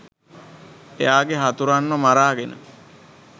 එයාගේ හතුරන්ව මරාගෙන